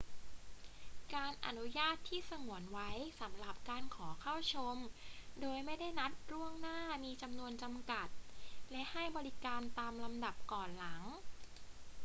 การอนุญาตที่สงวนไว้สำหรับการขอเข้าชมโดยไม่ได้นัดล่วงหน้ามีจำนวนจำกัด และให้บริการตามลำดับก่อนหลัง